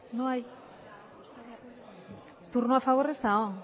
turno a favor ez dago